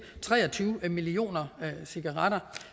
tre og tyve millioner cigaretter